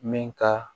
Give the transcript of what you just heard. Min ka